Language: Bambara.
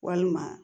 Walima